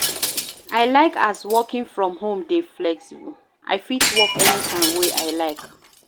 I like as working from home dey flexible, I fit work anytime wey I like.